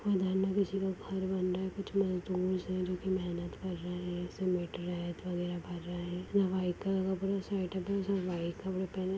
उधर न किसी का घर बन रहा है कुछ मजदुर्स है जोकि मेहनत कर रहे है सीमेंट रेत वगैरह भर रहे है न व्हाइट कलर का पूरा सेटअप है उसमें व्हाइट कपड़े पहने --